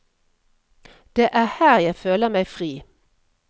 Det er her jeg føler meg fri.